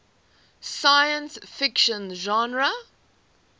science fiction genre